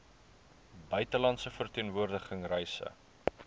buitelandse verteenwoordiging reise